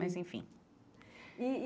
Mas, enfim. E e